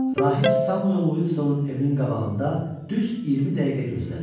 Rahib Samuel Uilsonun evinin qabağında düz 20 dəqiqə gözlədi.